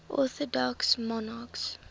orthodox monarchs